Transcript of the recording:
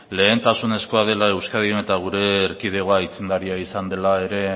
lehentasunezkoa dela euskadin eta gure erkidegoa aitzindaria izan dela ere